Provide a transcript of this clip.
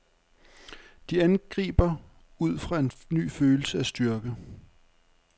De angriber ud fra en ny følelse af styrke.